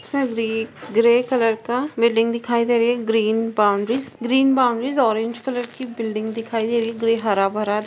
fabric grey colour का building दिखाई दे रही है green boundaries green boundaries orange colour की बिल्ड़िंग दिखाई दे रही है ग्रे हरा-भरा- -